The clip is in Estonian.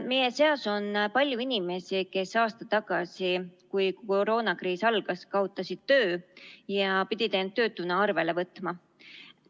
Meie seas on palju inimesi, kes aasta tagasi, kui koroonakriis algas, kaotasid töö ja pidid end töötuna arvele võtma.